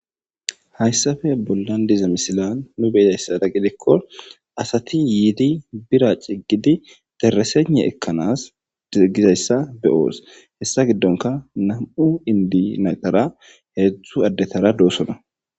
Haysape bolan diza missilen nuni be'zaysa gidiko asati yidi bira c'gidi dereseygne ekanas digizaysa be'os haysa gidonka nam'u inde naytara hedzu adetara dosona.